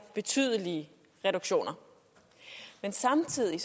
betydelige reduktioner men samtidig